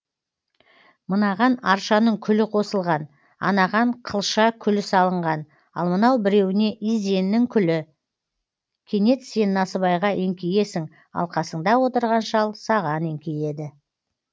мынаған аршаның күлі қосылған анаған қылша күлі салынған ал мынау біреуіне изеннің күлі кенет сен насыбайға еңкейесің ал қасыңда отырған шал саған еңкейеді